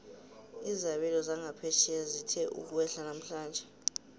izabelo zangaphetjheya zithe ukwehla namhlanje